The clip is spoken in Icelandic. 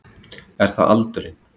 Er það aldurinn?